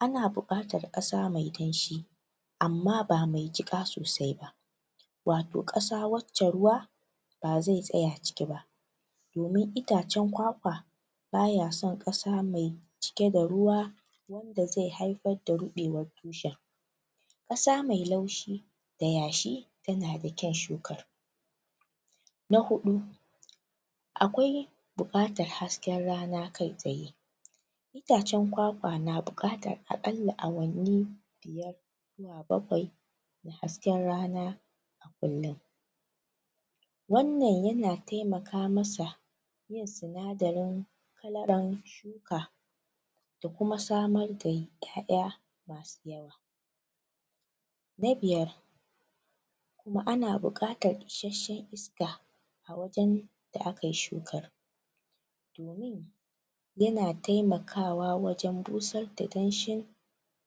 ana buƙatar ƙasa mai danshi amma ba mai jiƙa sosai ba wato ƙasa wacce ruwa ba zai tsaya ciki ba. Domin itacen kwakwa ba ya son ƙasa mai cike da ruwa da zai haifar da ruɓewar tushen. Ƙasa mai laushi da yashi ya na da kyon shuka. Na huɗu akwai buƙatar hasken rana kai-tsaye itace kwakwa na buƙatar aƙalla awanni bakwai hasken rana kullum Wannan ya na taimaka masa sinadarin talaran shuka da kuma samar da ƴaƴa. Na biyar ma ana buƙatar shishi da a wajen da aka yi shukar ya na taimakawa wajen bushar da danshin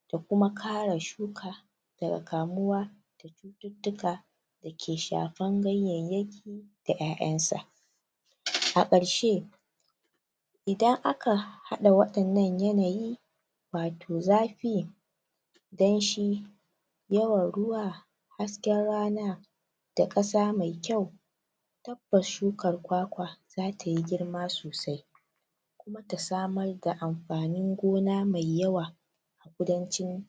da kuma kare shuka daga kamuwa duka da ke shafan ganyayye da ƴaƴansa. A ƙarshe idan aka haɗa waƴannan yanayi wato zafi, danshi, yawan ruwa, hasken rana, da ƙasa mai kyau ga shukar kwakwa za ta yi girma sosai da samar da amfanin gona mai yawa kudancin